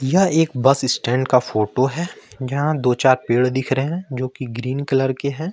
यह एक bus stand का फोटो है जहां दो चार पेड़ दिख रहे है जो कि ग्रीन कलर के है।